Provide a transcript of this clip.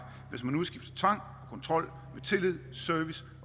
hvis man udskifter tvang og kontrol med tillid service